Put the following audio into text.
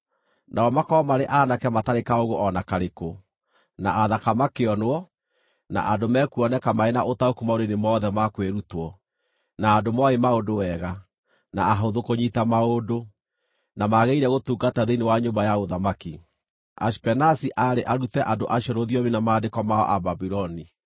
nao makorwo marĩ aanake matarĩ kaũũgũ o na karĩkũ, na athaka makĩonwo, na andũ mekuoneka marĩ na ũtaũku maũndũ-inĩ mothe ma kwĩrutwo, na andũ mooĩ maũndũ wega, na ahũthũ kũnyiita maũndũ, na magĩrĩire gũtungata thĩinĩ wa nyũmba ya ũthamaki. Ashipenazi aarĩ arute andũ acio rũthiomi na maandĩko ma Ababuloni.